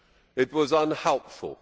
It was unhelpful.